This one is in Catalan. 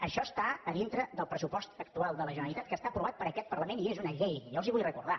això està dintre del pressupost actual de la generalitat que està aprovat per aquest parlament i és una llei jo els ho vull recordar